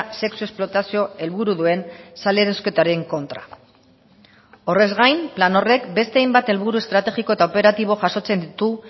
sexu esplotazio helburu duen salerosketaren kontra horrez gain plan horrek beste hainbat helburu estrategiko eta operatibo jasotzen ditu